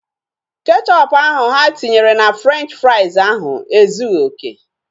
Kechọpu ahu ha tinyere na Frenchi frais ahu ezughị okè